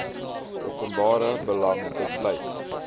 openbare belang besluit